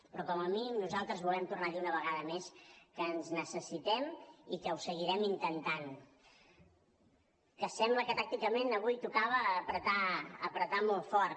però com a mínim nosaltres volem tornar a dir una vegada més que ens necessitem i que ho seguirem intentant que sembla que tàcticament avui tocava apretar apretar molt fort